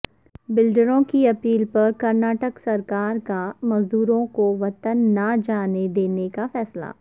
بلڈروں کی اپیل پر کرناٹک سرکار کامزدوروں کو وطن نہ جانے دینے کا فیصلہ